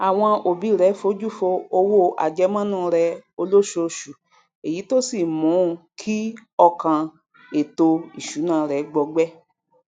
àwọn òbi rẹ fojú fo owó àjẹmọnú rẹ olósooṣù èyí tó sì mún kí ọkàn ètò ìsúná rẹ gbọgbẹ